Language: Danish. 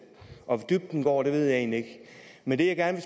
hvor dybt den går ved jeg egentlig ikke men det jeg gerne